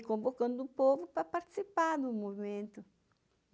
E convocando o povo para participar do movimento.